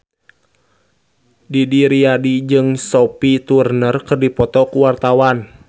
Didi Riyadi jeung Sophie Turner keur dipoto ku wartawan